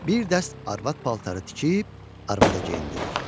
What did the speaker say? Bir dərs arvad paltarı tikib arvada geyindirir.